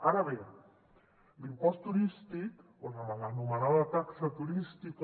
ara bé l’impost turístic o la mal anomenada taxa turística